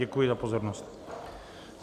Děkuji za pozornost.